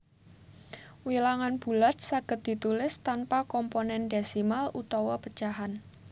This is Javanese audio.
Wilangan bulat saged ditulis tanpa komponén désimal utawa pecahan